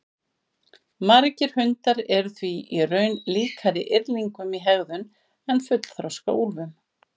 Margir hundar eru því í raun líkari yrðlingum í hegðun en fullþroska úlfum.